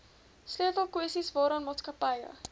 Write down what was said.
sleutelkwessies waaraan maatskappye